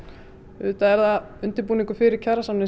auðvitað er það undirbúningur fyrir